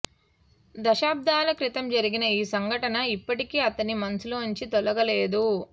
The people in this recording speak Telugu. దశాబ్దాల క్రితం జరిగిన ఆ సంఘటన ఇప్పటికీ అతని మనసులోంచి తొలగలేదు